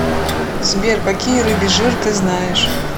сбер какие рыбий жир ты знаешь